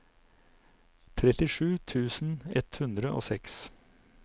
trettisju tusen ett hundre og seks